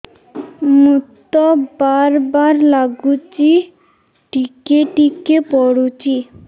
ମୁତ ବାର୍ ବାର୍ ଲାଗୁଚି ଟିକେ ଟିକେ ପୁଡୁଚି